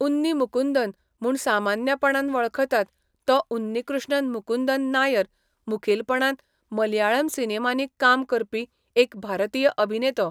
उन्नी मुकुंदन म्हूण सामान्यपणान वळखतात, तो उन्नीकृष्णन मुकुंदन नायर, मुखेलपणान मलयाळम सिनेमांनी काम करपी एक भारतीय अभिनेतो.